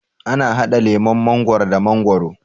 ana hada lemun mangwaro da mangwaro